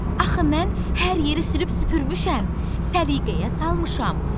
Axı mən hər yeri sürüb süpürmüşəm, səliqəyə salmışam.